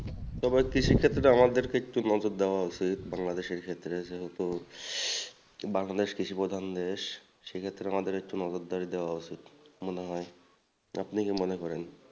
তবে কৃষি ক্ষেত্রে আমাদেরকে একটু নজর দেওয়া উচিত বাংলাদেশের ক্ষেত্রে যেহেতু বাংলাদেশ কৃষি প্রধান দেশ সেক্ষেত্রে আমাদের একটু নজরদারি দেওয়া উচিত মনে হয় আপনি কি মনে করেন?